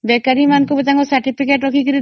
ବେକାରି ମାନଙ୍କ ବି ତାଙ୍କ certificate ରଖି